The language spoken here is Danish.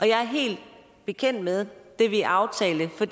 jeg er helt bekendt med det vi aftalte for